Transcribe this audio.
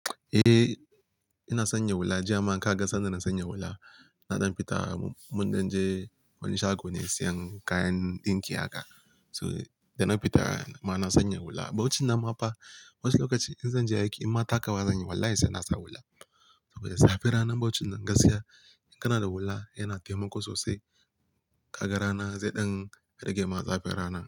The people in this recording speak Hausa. Eh ina sanya hula, jiya ma ka ga sanda na sanya hula, na dan fita mundan je wani shago ne siyan kayan ɗinki haka. To da na fita ma na sanya hula. Bauchin nan mafa wasu lokaci in zan je aiki in ma takawa zan yi wallahi sai na sa hula. Saboda zafin ranan bauchin nan gaskiya, kana da hula yana taimako sosai kaga rana, sai ɗan rage ma zafir rana.